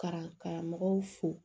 Ka karamɔgɔw fo